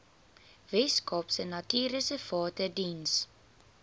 weskaapse natuurreservate diens